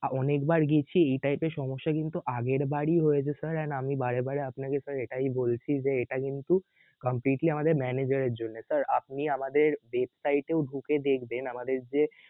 অনেকবার গিয়েছি এইটাই তো সমস্যা কিন্তু আগেরবারই হয়েছে sir and আমি বারেবারে আপনাকে sir এটাই বলছি যে এটা কিন্তু completely আমাদের manager এর জন্যে sir আপনি আমাদের website এও ঢুকে দেখবেন আমাদের যে